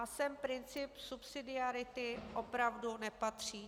A sem princip subsidiarity opravdu nepatří.